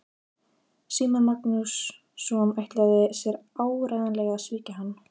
Símon Markússon ætlaði sér áreiðanlega að svíkja hann.